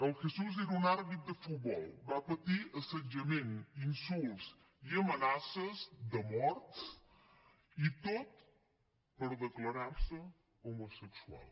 el jesús era un àrbitre de futbol va patir assetjament insults i amenaces de mort i tot per declarar se homosexual